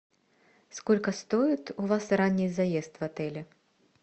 сколько стоит у вас ранний заезд в отеле